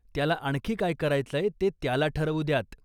त्याला आणखी काय करायचंय ते त्याला ठरवू द्यात.